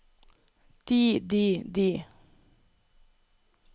de de de